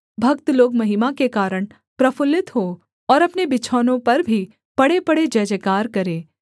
भक्त लोग महिमा के कारण प्रफुल्लित हों और अपने बिछौनों पर भी पड़ेपड़े जयजयकार करें